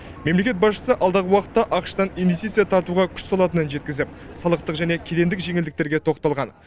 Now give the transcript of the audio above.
мемлекет басшысы алдағы уақытта ақш тан инвестиция тартуға күш салатынын жеткізіп салықтық және кедендік жеңілдіктерге тоқталған